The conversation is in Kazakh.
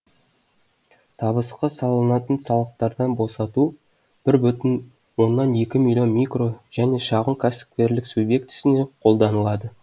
табысқа салынатын салықтардан босату бір бүтін оннан екі миллион микро және шағын кәсіпкерлік субъектісіне қолданылады